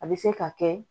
A bɛ se ka kɛ